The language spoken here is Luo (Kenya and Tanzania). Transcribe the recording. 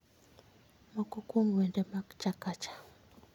Moko kuom wende mag chakacha